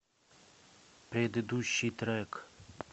предыдущий трек